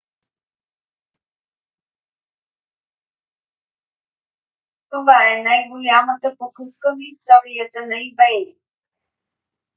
това е най-голямата покупка в историята на ebay